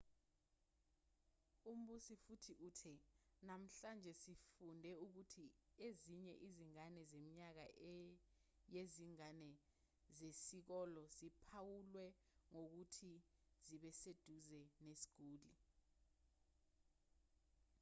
umbusi futhi uthe namhlanje sifunde ukuthi ezinye izingane zeminyaka yezingane zesikole ziphawulwe ngokuthi zibeseduze nesiguli